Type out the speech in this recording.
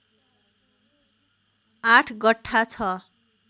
८ गठ्ठा ६